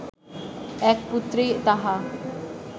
এক পুত্রেই তাহা